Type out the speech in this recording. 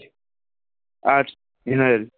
Arts general